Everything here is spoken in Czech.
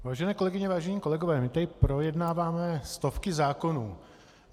Vážené kolegyně, vážení kolegové, my tady projednáváme stovky zákonů.